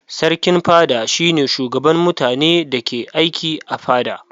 Sarkin fada shi ne shugaban mutanen da ke aiki a fada.